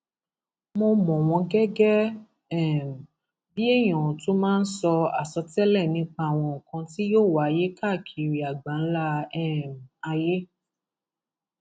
mo mọ wọn gẹgẹ um bíi èèyàn tó máa ń sọ àsọtẹlẹ nípa àwọn nǹkan tí yóò wáyé káàkiri àgbáńlá um ayé